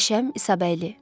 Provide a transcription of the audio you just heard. Qəşəm İsabəyli.